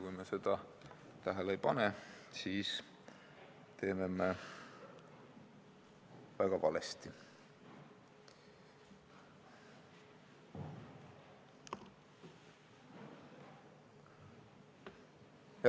Kui me seda tähele ei pane, siis teeme me väga valesti.